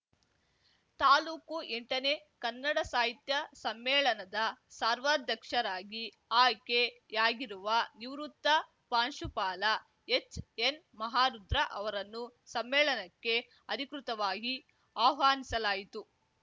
ತಾಲೂಕು ಎಂಟನೇ ಕನ್ನಡ ಸಾಹಿತ್ಯ ಸಮ್ಮೇಳನದ ಸರ್ವಾಧ್ಯಕ್ಷರಾಗಿ ಆಯ್ಕೆಯಾಗಿರುವ ನಿವೃತ್ತ ಪ್ರಾಂಶುಪಾಲ ಎಚ್‌ಎನ್‌ ಮಹಾರುದ್ರ ಅವರನ್ನು ಸಮ್ಮೇಳನಕ್ಕೆ ಅಧಿಕೃತವಾಗಿ ಆಹ್ವಾನಿಸಲಾಯಿತು